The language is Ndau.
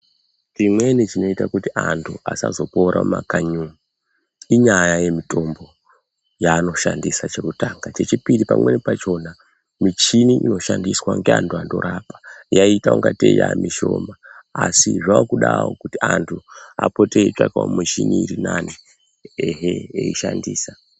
Chimweni chinoita kuti antu asazopora mumakanyi umu inyaya yemutombo yaanoshandisa chekutanga. Chechipiri pamweni pachona michini inoshandiswa ngeantu anorapa yaiita ingatei yaa mishoma. Asi zvaakudawo kuti antu apote eitsvakawo mushini irinane ehee eishandisa.